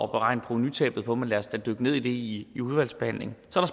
beregne provenutabet på men lad os da dykke ned i i udvalgsbehandlingen så